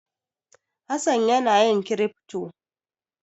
Hassan yana yin kirifto.